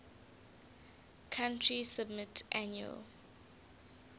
country submit annual